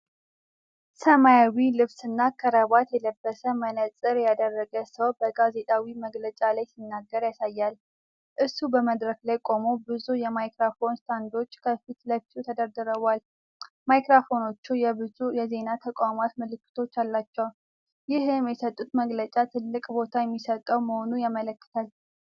ሰማያዊ ልብስና ክራባት የለበሰ፣ መነጽር ያደረገ ሰው በጋዜጣዊ መግለጫ ላይ ሲናገር ያሳያል። እሱ በመድረክ ላይ ቆሞ፣ ብዙ የማይክሮፎን ስታንዶች ከፊት ለፊቱ ተደርድረዋል። ማይክሮፎኖቹ የብዙ የዜና ተቋማት ምልክቶች አሏቸው። ይህም የሰጡት መግለጫ ትልቅ ቦታ የሚሰጠው መሆኑን ያመለክታል።